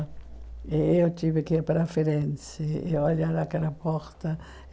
E eu tive que ir para a Firenze e olhar aquela porta.